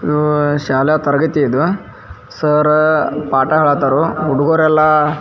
ಆಹ್ಹ್ ಶಾಲಾ ತರಗತಿ ಇದು ಸರ್ ಪಾಠ ಹೇಳ್ತರು ಹುಡುಗೂರು ಎಲ್ಲ --